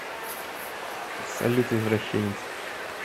салют извращенец